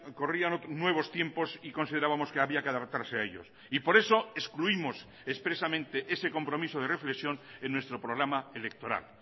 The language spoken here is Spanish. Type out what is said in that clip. corrían nuevos tiempos y considerábamos que había que adaptarse a ellos y por eso excluimos expresamente ese compromiso de reflexión en nuestro programa electoral